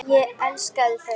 Ég elskaði þau.